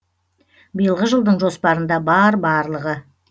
биылғы жылдың жоспарында бар барлығы